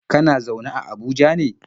Kana zaune a Abuja ne?